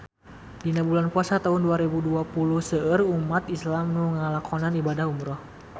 Dina bulan Puasa taun dua rebu dua puluh seueur umat islam nu ngalakonan ibadah umrah